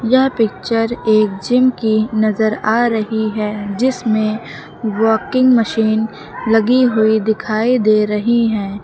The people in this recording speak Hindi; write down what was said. यह पिक्चर एक जिम की नजर आ रही है जिसमें वाकिंग मशीन लगी हुई दिखाई दे रही है।